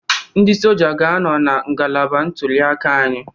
Ndị Soja ga-anọ na ngalaba ntulịaka anyị